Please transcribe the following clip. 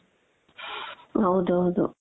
ಹೌದೌದು